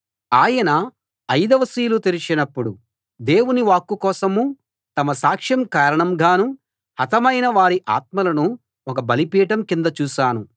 ఆయన అయిదవ సీలు తెరచినప్పుడు దేవుని వాక్కు కోసమూ తమ సాక్ష్యం కారణంగానూ హతమైన వారి ఆత్మలను ఒక బలిపీఠం కింద చూశాను